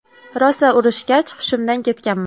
Rosa urishgach, hushimdan ketganman.